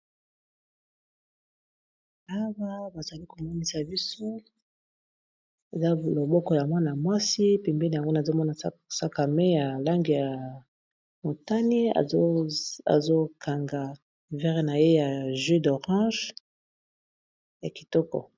Awa bazali komonisa biso eza loboko ya mwana mwasi pembeni nango nazomona sac a main ya langi ya motani azokanga vere na ye ya jus d'orange ya kitoko.